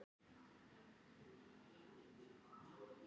Menn láta ekki vaða yfir sig